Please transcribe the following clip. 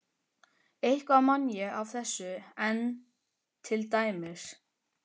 Eitthvað man ég af þessu enn, til dæmis